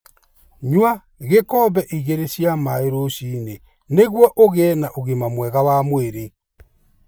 Nyua gĩkombe igĩrĩ cia maĩ rũcinĩ nĩguo ũgĩe na ũgima mwega wa mwĩrĩ.